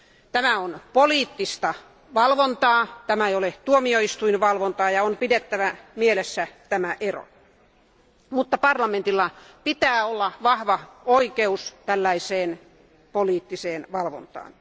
Tämä on poliittista valvontaa, tämä ei ole tuomioistuinvalvontaa, ja se ero on pidettävä mielessä, mutta parlamentilla pitää olla vahva oikeus tällaiseen poliittiseen valvontaan.